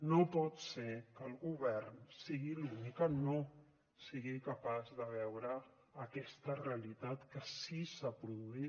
no pot ser que el govern sigui l’únic que no sigui capaç de veure aquesta realitat que sí s’ha produït